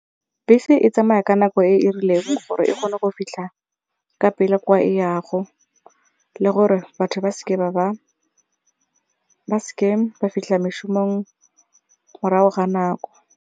Bese e tsamaya ka nako e e rileng gore e kgone go fitlha ka pele kwa e yago le gore batho ba seke ba ba fitlha mešomong morago ga nako.